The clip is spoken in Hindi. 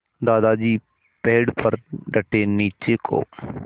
दादाजी पेड़ पर डटे नीचे को